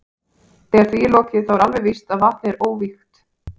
Þegar því er lokið þá er alveg víst að vatnið er óvígt.